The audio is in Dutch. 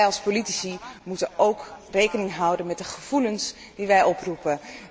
En wij als politici moeten ook rekening houden met de gevoelens die wij oproepen.